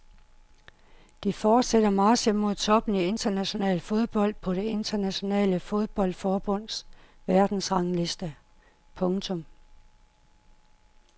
De fortsætter marchen mod toppen i international fodbold på det internationale fodboldforbunds verdensrangliste. punktum